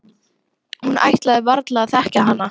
Hún ætlaði varla að þekkja hana.